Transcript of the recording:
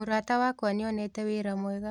Mũrata wakwa nĩonete wĩra mwega